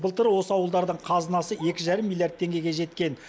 былтыр осы ауылдардың қазынасы екі жарым миллиард теңгеге жеткен